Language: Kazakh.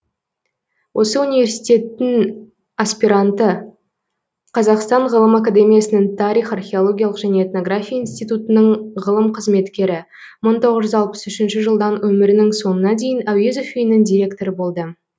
осы университеттің аспиранты қазақстан ғылым академиясының тарих археологиялық және этнография институтынының ғылым қызметкері мың тоғыз жүз алпыс үшінші жылдан өмірінің соңына дейін әуезов үйінің директоры болды